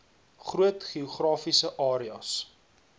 groot geografiese areas